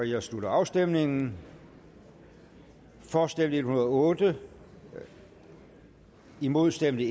jeg slutter afstemningen for stemte en hundrede og otte imod stemte